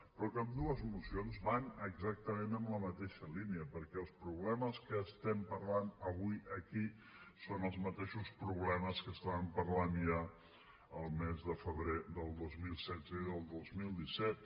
però ambdues mocions van exactament en la mateixa línia perquè els problemes que estem parlant avui aquí són els mateixos problemes que estàvem parlant ja el mes de febrer del dos mil setze i del dos mil disset